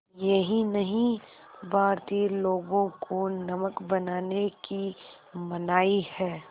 यही नहीं भारतीय लोगों को नमक बनाने की मनाही है